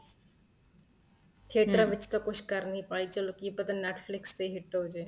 theater ਵਿੱਚ ਤਾਂ ਕੁੱਛ ਕਰ ਨਹੀਂ ਪਾਏ ਚਲੋਂ ਕੀ ਪਤਾ Netflix ਤੇ hit ਹੋ ਜਏ